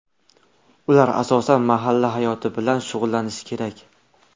Ular asosan mahalla hayoti bilan shug‘ullanishi kerak.